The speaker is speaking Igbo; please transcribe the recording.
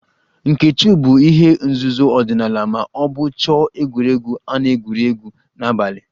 Nkechu bụ ihe nzuzo ọdịnala ma ọ bụ chọọ egwuregwu a na-egwuri egwu n'abalị